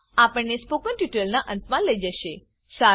આ આપણને સ્પોકન ટ્યુટોરીયલના અંતમા લઇ જશે